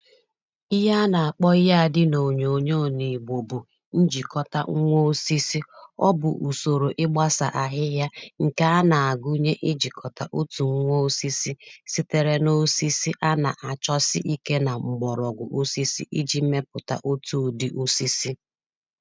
Ihe a nà-àkpọ ihe ȧdị n’ònyòònyo n'ị̀gbo bụ̀ njìkọta nwa osisi, ọ bụ̀ ùsòrò ịgbȧsà àhịhịa ǹkè a nà-àgụnye ijìkọ̀ta otù nwa osisi sitere n’osisi a nà-àchọsị ikė nà m̀gbọ̀rọ̀ọgwụ̀ osisi iji̇ mepụ̀ta otù ụ̀dị osisi.